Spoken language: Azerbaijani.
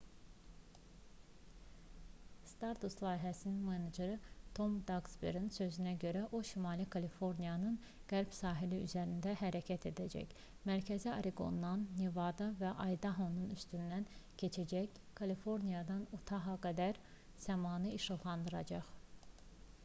stardust layihəsinin meneceri tom daksberinin sözlərinə görə o şimali kaliforniyanın qərb sahili üzərində hərəkət edəcək mərkəzi oreqondan nevada və aydahonun üstündən keçərək kaliforniyadan utaha qədər səmanı işıqlandıracaq